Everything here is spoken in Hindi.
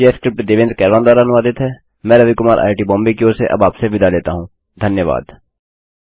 यह स्क्रिप्ट देवेन्द्र कैरवान द्वारा अनुवादित हैमैं रवि कुमार आईआईटीबॉम्बे की ओर से अब आपसे विदा लेता हूँ धन्यवाद